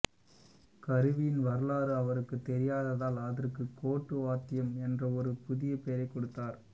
கருவியின் வரலாறு அவருக்குத் தெரியாததால் அதற்கு கோட்டுவாத்தியம் என்ற ஒரு புதிய பெயரைக் கொடுத்தார்